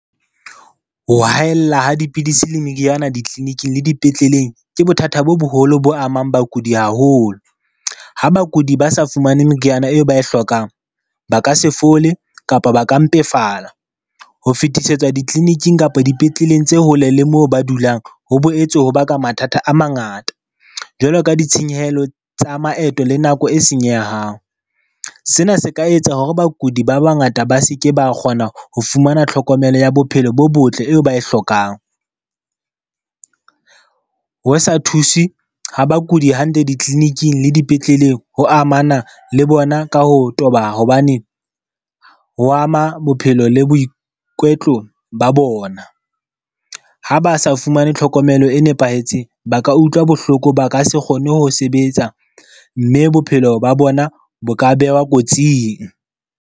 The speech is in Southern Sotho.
Ho haella ha dipidisi le meriana di-clinic-ing le dipetleleng ke bothata bo boholo bo amang bakudi haholo. Ha bakudi ba sa fumane meriana eo ba e hlokang, ba ka se fole kapa ba ka mpefala. Ho fetisetswa di-clinic-ing kapa dipetleleng tse hole le moo ba dulang, ho boetse ho baka mathata a mangata. Jwalo ka ditshenyehelo tsa maeto le nako e senyehang. Sena se ka etsa hore bakudi ba bangata ba seke ba kgona ho fumana tlhokomelo ya bophelo bo botle eo ba e hlokang. Ho sa thuswe ha bakudi hantle di-clinic-ing le dipetleleng ho amana le bona ka ho toba. Hobane ho ama bophelo le boikwetlo ba bona. Ha ba sa fumane tlhokomelo e nepahetseng, ba ka utlwa bohloko ba ka se kgone ho sebetsa, mme bophelo ba bona bo ka behwa kotsing.